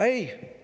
Ei!